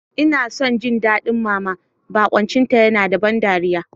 Ina son jin daɗin Mama, barkwancinta yana da ban dariya.